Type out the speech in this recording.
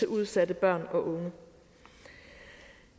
udsatte børn og unge